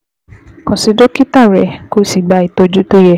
Kàn sí dókítà rẹ, kó o sì gba ìtọ́jú tó yẹ